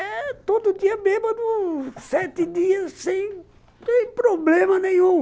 É todo dia, uns sete dias sem problema nenhum.